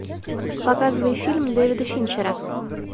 показывай фильм дэвида финчера